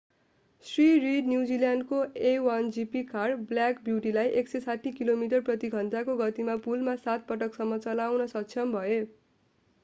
Shri Reid न्युजिल्यान्डको a1gp car black ब्युटीलाई 160 kilometre प्रति घण्टाको गतिमा पुलमा सात पटकसम्म चलाउन सक्षम भए